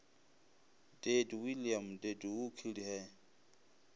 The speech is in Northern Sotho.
dead william deadwho killed her